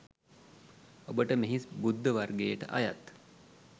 ඔබට මෙහි බුද්ධ වර්ගයට අයත්